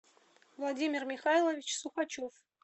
владимир михайлович сукачев